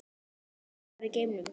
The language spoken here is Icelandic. Staða jarðar í geimnum